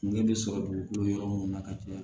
Kungɛ bɛ sɔrɔ dugukolo yɔrɔ mun na ka caya